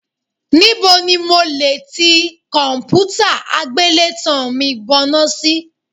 Níbo ni mo lè ti ti kọ̀m̀pútà àgbélétan mi bọná sí.?